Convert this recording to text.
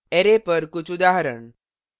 array पर कुछ उदाहरण